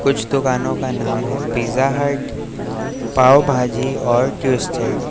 इस दुकानों का नाम है पिज्जा हट पाव भाजी और ट्विस्टेड ।